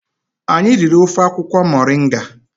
Anyị riri ofe akwukwo moringa